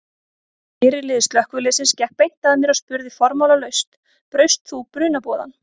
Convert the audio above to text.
Fyrirliði slökkviliðsins gekk beint að mér og spurði formálalaust: Braust þú brunaboðann?